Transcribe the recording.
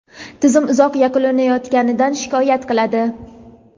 tizim uzoq yuklanayotganidan shikoyat qiladi.